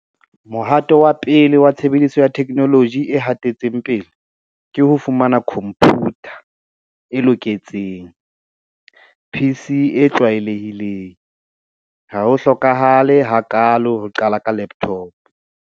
Mohato wa pele wa tshebediso ya theknoloji e hatetseng pele ke ho fumana khomputa e loketseng PC e tlwaelehileng. Ha ho hlokahale hakaalo ho qala ka laptop.